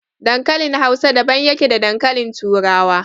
Dankalin Hausa daban yake da dankalin turawa.